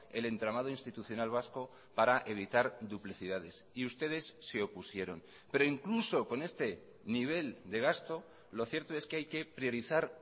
el entramado institucional vasco para evitar duplicidades y ustedes se opusieron pero incluso con este nivel de gasto lo cierto es que hay que priorizar